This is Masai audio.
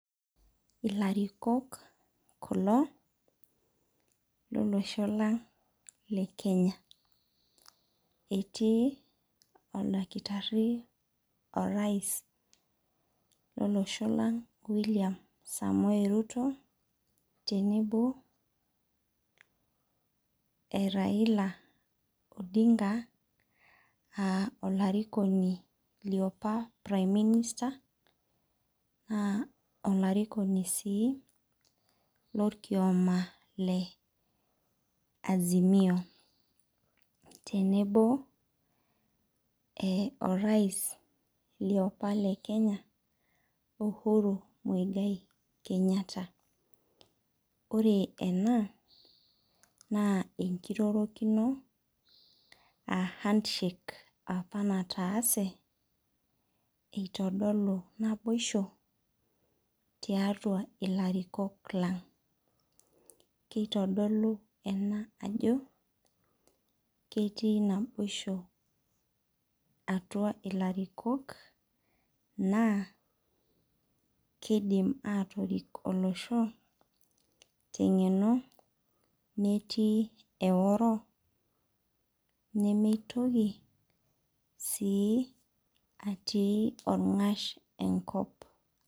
Ilarikook kulo lolosho lang' le Kenya. Etii oltakitari oo Rais lo losho lang' William Samoei Ruto tenebo Raila Odinga olarikoni liopa Prime Minister olarikoni sii lorkiona le Azimio tenebo oo Rais liopa Uhuru Muigai Kenyatta. Ore ena naa enkirorokino aa handshake apa nataase itodolu naboisho tiatua ilarikook lang'. Kitodolu ena ajo ketii naboisho atua ilarikook naa kidim atorik olosho teng'eno meetii eoro nemeitoki sii atii orng'ash enkop.